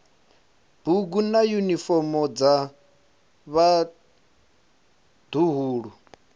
bugu na yunifomo dza vhaḓuhulu